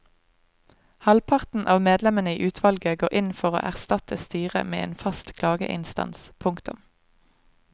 Halvparten av medlemmene i utvalget går inn for å erstatte styret med en fast klageinstans. punktum